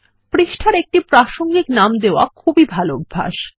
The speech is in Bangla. পৃষ্ঠার একটি প্রাসঙ্গিক নাম দেওয়া একটি খুবই ভালো অভ্যাস